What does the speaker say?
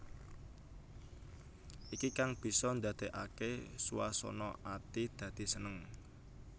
Iki kang bisa ndadèkaké swasana ati dadi seneng